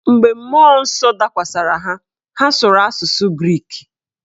Mgbe mmụọ nsọ dakwasịrị ha, ha sụrụ asụsụ grik.